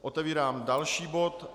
Otevírám další bod.